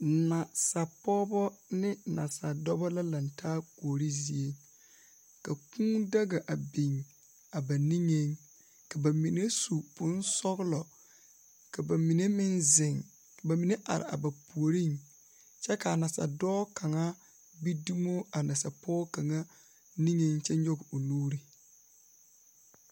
Nasapɔgebɔ ne Nasadɔbɔ la lantaa Kuori zie. Ka Kūū daga a biŋ a ba niŋeŋ, ka ba mine su bonsɔglɔ ka ba mine zeŋ ka ba mine meŋ are a ba puoriŋ. Kyɛ kaa. Nasadɔɔ kaŋa gbi dumo a Nasapɔge kaŋa niŋe kyɛ nyɔge o nuuri.